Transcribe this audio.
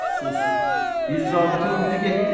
Əfsus, bir zabitə uydu getdi.